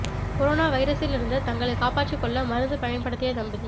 corona வைரஸில் இருந்து தங்களை காப்பாற்றிக் கொள்ள மருந்து பயன் படுத்திய தம்பதி